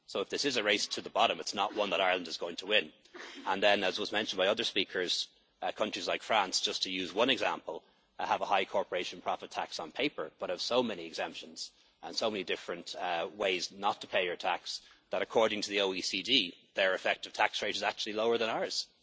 So if this is a race to the bottom, it is not one that Ireland is going to win. As was mentioned by other speakers, countries like France, just to use one example, have a high corporation profit tax on paper but have so many exemptions and so many different ways not to pay tax that, according to the OECD, their effective tax rate is actually lower than